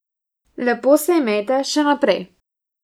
Lepo se imejte še naprej.